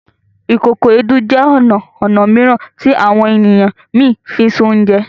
Ìkòkò Èédú jẹ ọna ọnà mìíràn ti àwọn ènìyàn mí fínṣe Oúnjẹ